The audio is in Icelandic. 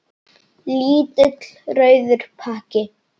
Lítill rauður pakki.